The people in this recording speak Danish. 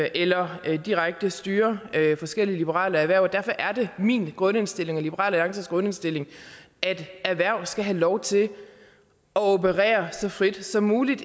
eller direkte styre forskellige liberale erhverv derfor er det min grundindstilling og liberal alliances grundindstilling at erhverv skal have lov til at operere så frit som muligt